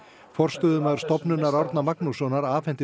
forstöðumaður Stofnunar Árna Magnússonar afhenti